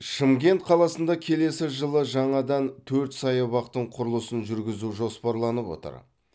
шымкент қаласында келесі жылы жаңадан төрт саябақтың құрылысын жүргізу жоспарланып отыр